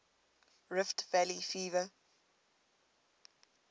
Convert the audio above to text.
rift valley fever